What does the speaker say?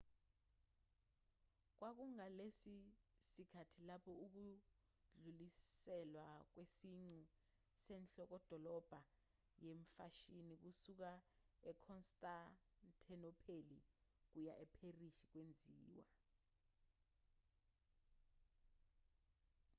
kwakungalesi sikhathi lapho ukudluliselwa kwesiqu senhlokodolobha yemfashini kusuka ekhonstantinopheli kuya epherisi kwenziwa